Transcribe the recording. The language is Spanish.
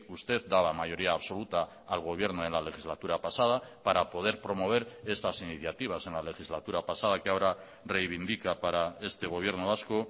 usted daba mayoría absoluta al gobierno en la legislatura pasada para poder promover estas iniciativas en la legislatura pasada que ahora reivindica para este gobierno vasco